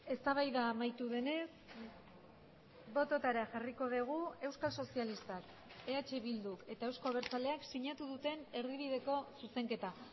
eztabaida amaitu denez bototara jarriko dugu euskal sozialistak eh bilduk eta euzko abertzaleak sinatu duten erdibideko zuzenketa